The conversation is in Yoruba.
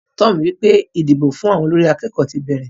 Tom wípé idìgbó fún àwọn olórí akékòó ti bẹrẹ.